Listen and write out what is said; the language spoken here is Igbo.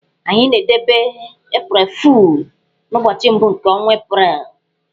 Anyị na-edebe 'April Fool' n'ụbọchị mbụ nke ọnwa April.